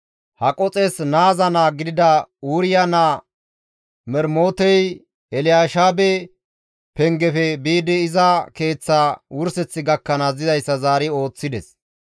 Haqoxes naaza naa gidida Uriya naa Mermotey Elyaasheebe pengefe biidi iza keeththa wurseth gakkanaas dizayssa zaari ooththides.